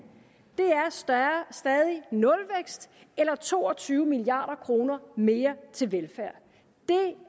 er stadig nulvækst eller to og tyve milliard kroner mere til velfærd det